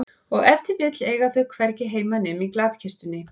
Og ef til vill eiga þau hvergi heima nema í glatkistunni.